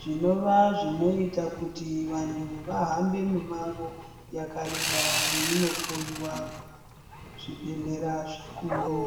Zvinova zvinoita kuti vantu vahambe mimango yakareba veinohloyiwa kuzvibhehlera zvikuru.